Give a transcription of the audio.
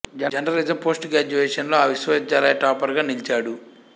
journalism post graduation లో ఆ విశ్వవిద్యాలయ టాపర్ గా నిలిచాడు